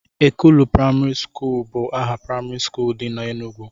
Ekulu praimarị bụ aha praimarị skuul dị na Enugwu